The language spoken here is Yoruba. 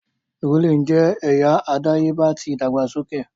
Drooling jẹ ẹya adayeba ti idagbasoke.